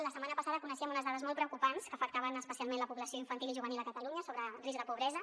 la setmana passada coneixíem unes dades molt preocupants que afectaven especialment la població infantil i juvenil a catalunya sobre risc de pobresa